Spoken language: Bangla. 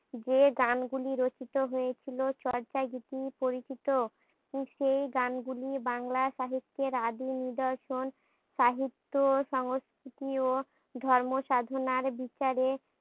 যে গানগুলি রচিত হয়েছিল চর্যাগীতি পরচিত। সেই গানগুলি বাংলা সাহিত্যের আদিম নিদর্শন। সাহিত্য, সংস্কৃতি ও ধর্ম সাধনার বিচারে